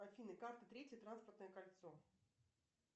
афина карты третье транспортное кольцо